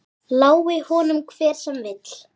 Lái honum hver sem vill.